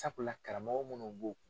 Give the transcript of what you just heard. Sabula karamɔgɔ munnu b'o